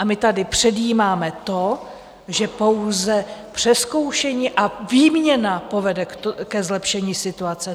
A my tady předjímáme to, že pouze přezkoušení a výměna povede ke zlepšení situace.